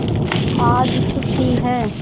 आज छुट्टी है